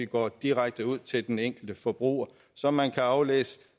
går direkte ud til den enkelte forbruger så man kan aflæse